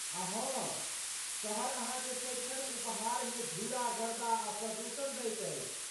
आ हाँ, शहर अहाँकेँ सदिखन उपहारमे धूरा गर्दा आ प्रदूषण दैत अछि।